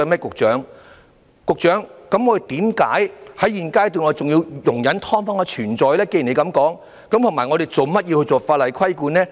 局長，既然你這麼說，那為何現階段我們仍要容忍"劏房"的存在，還要訂立法例規管呢？